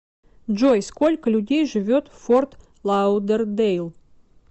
джой сколько людей живет в форт лаудердейл